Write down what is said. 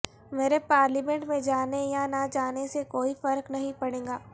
میرے پارلیمنٹ میں جانے یا نہ جانے سے کوئی فرق نہیں پڑے گا